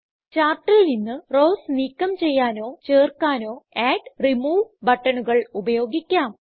ചാർട്ടിൽ നിന്ന് റൌസ് നീക്കം ചെയ്യാനോ ചേർക്കാനോ അഡ് റിമൂവ് ബട്ടണുകൾ ഉപയോഗിക്കാം